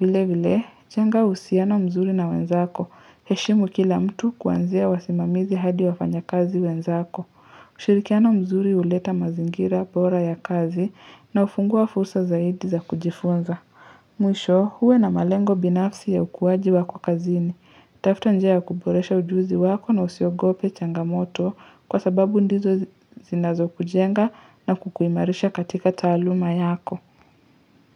Vile vile, jenga uhusiano mzuri na wenzako, heshimu kila mtu kuanzia wasimamizi hadi wafanya kazi wenzako. Ushirikiana mzuri huleta mazingira bora ya kazi na hufungua fursa zaidi za kujifunza. Mwisho, uwe na malengo binafsi ya ukuwaji wako kazini. Tafuta njia ya kuboresha ujuzi wako na usiogope changamoto kwa sababu ndizo zinazo kujenga na kukuimarisha katika taaluma yako.